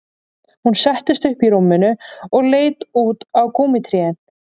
Hún settist upp í rúminu og leit út á gúmmítrén